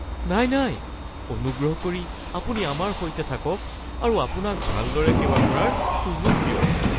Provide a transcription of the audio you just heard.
নাই নাই...অনুগ্ৰহ কৰি আপুনি আমাৰ সৈতে থাকক আৰু আপোনাক ভালদৰে সেৱা কৰাৰ সুযোগ দিয়ক (হোটেল আৰু অতিথিৰ সম্পৰ্ক)